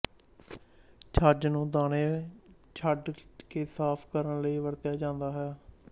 ਛੱਜ ਨੂੰ ਦਾਣੇ ਛੰਡ ਕੇ ਸਾਫ ਕਰਨ ਲਈ ਵਰਤਿਆ ਜਾਂਦਾ ਹੈ